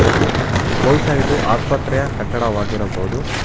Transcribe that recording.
ಮತ್ತು ಬಹುಶಃ ಇದು ಆಸ್ಪತ್ರೆಯ ಕಟ್ಟಡವಾಗಿರಬಹುದು.